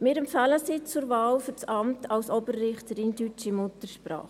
Wir empfehlen sie für das Amt als Oberrichterin deutscher Muttersprache.